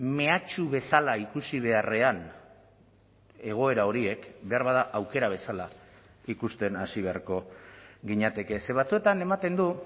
mehatxu bezala ikusi beharrean egoera horiek beharbada aukera bezala ikusten hasi beharko ginateke ze batzuetan ematen du